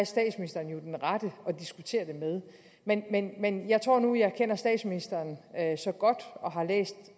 statsministeren jo den rette at diskutere det med men men jeg tror nu at jeg kender statsministeren så godt og har læst